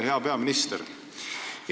Hea peaminister!